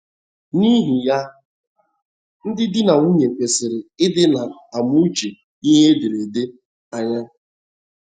N’ihi ya, ndị di na nwunye kwesịrị ịdị na - amụchi ihe ederede anya.